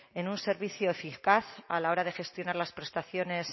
en un servicio eficaz a la hora de gestionar las prestaciones